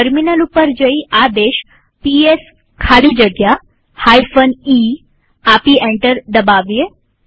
terminal ઉપર જઈ આદેશ પીએસ ખાલી જગ્યા e આપી એન્ટર દબાવીએ